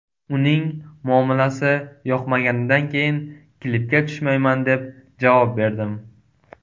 Uning muomalasi yoqmaganidan keyin klipga tushmayman, deb javob berdim.